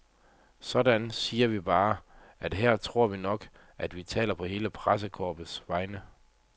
Sådan, siger vi bare, og her tror vi nok, at vi taler på hele pressekorpsets vegne.